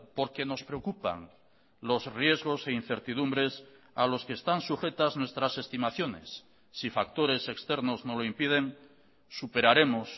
porque nos preocupan los riesgos e incertidumbres a los que están sujetas nuestras estimaciones si factores externos no lo impiden superaremos